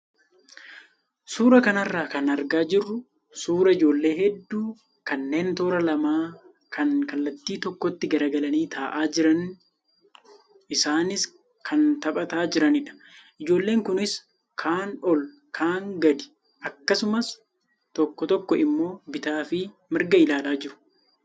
Suuraa kanarraa kan argaa jirru suuraa ijoollee hedduu kanneen toora lamaa kan kallattii tokkotti garagalanii taa'aa jiran isaanis kan taphataa jiranidha. Ijoolleen kunis kaan ol kaan gadii akkasumas toko tokko immoo bitaa fi mirga ilaalaa jiru.